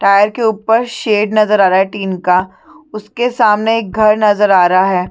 Tyre के ऊपर shed नज़र आ रहा है टीन का उसके सामने एक घर नज़र आ रहा है।